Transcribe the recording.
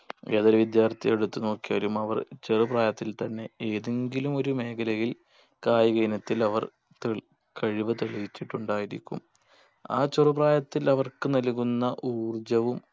ഏതൊരു വിദ്യാർത്ഥിയെ എടുത്തു നോക്കിയാലും അവർ ചെറുപ്രായത്തിൽ തന്നെ ഏതെങ്കിലും ഒരു മേഖലയിൽ കായിക ഇനത്തിൽ അവർ തെളി കഴിവ് തെളിയിച്ചിട്ടുണ്ടായിരിക്കും ആ ചെറുപ്രായത്തിൽ അവർക്ക് നൽകുന്ന ഊർജ്ജവും